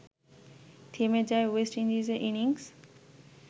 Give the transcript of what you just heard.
থেমে যায় ওয়েস্ট ইন্ডিজের ইনিংস